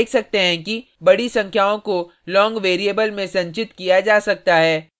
हम देख सकते हैं कि बड़ी संख्याओं को long variable में संचित किया जा सकता है